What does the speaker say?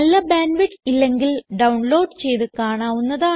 നല്ല bandwidth ഇല്ലെങ്കിൽ download ചെയ്ത് കാണാവുന്നതാണ്